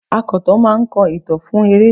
Akọ̀tàn máa ń kọ ìtàn fún eré.